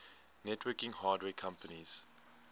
networking hardware companies